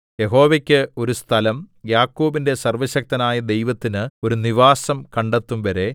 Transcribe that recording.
യഹോവയ്ക്ക് ഒരു സ്ഥലം യാക്കോബിന്റെ സര്‍വ്വശക്തനായ ദൈവത്തിനു ഒരു നിവാസം കണ്ടെത്തുംവരെ